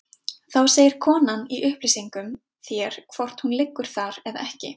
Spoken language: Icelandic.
Þá segir konan í upplýsingum þér hvort hún liggur þar eða ekki.